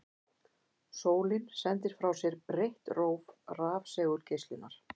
Sólin sendir frá sér breitt róf rafsegulgeislunar.